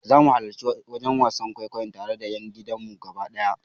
Zamu halarci wajen wasan kwaikwayon tare da yan gidanmu gaba daya.